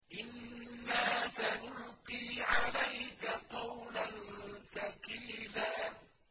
إِنَّا سَنُلْقِي عَلَيْكَ قَوْلًا ثَقِيلًا